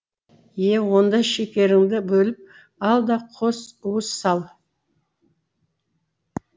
е онда шекеріңді бөліп ал да қос уыс сал